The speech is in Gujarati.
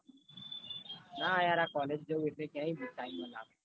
ના યાર આ college જવ એટલે ક્યાં હી